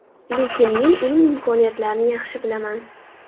Lekin men uning imkoniyatlarini yaxshi bilaman.